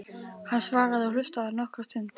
Hann svaraði og hlustaði nokkra stund.